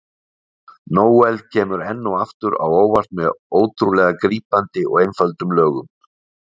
Noel kemur enn og aftur á óvart með ótrúlega grípandi og einföldum lögum.